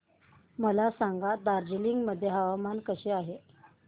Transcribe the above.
मला सांगा दार्जिलिंग मध्ये हवामान कसे आहे